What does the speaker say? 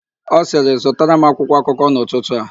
Ọ sịrị, "zụtara m akwụkwọakụkọ n'ụtụtụ a"!.